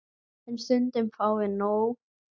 En stundum fáum við nóg.